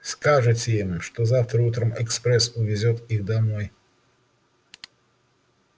скажете им что завтра утром экспресс увезёт их домой